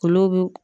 Olu bi